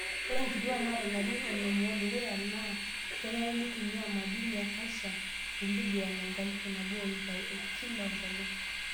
Ore nkituak naata larin onom oodukuya naa kenare neitumia madini e clcium miligram enkalifu nabo o iip are kila enkolong'.